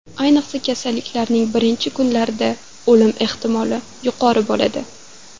Ayniqsa, kasallikning birinchi kunlarida o‘lim ehtimoli yuqori bo‘ladi.